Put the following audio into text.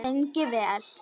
Lengi vel.